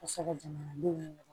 Ka sɔrɔ jamana ɲɛ